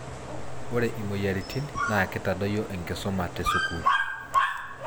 Ore imoyiaritin naa kitadoyio enkisuma te sukuul.